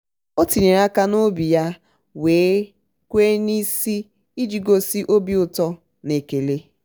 o tinyere aka ya n'obi ya wee kwe ya wee kwe n'isi iji gosi obi ụtọ na ekele.